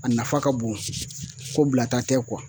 A nafa ka bon ko bilata tɛ kuwa